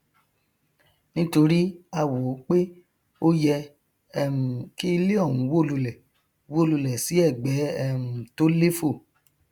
tí hiv bá wọnú àgọ ara tán àwọn ẹyà ara tí wọn npèsè wọn npèsè ọmọogun ara ní í bájà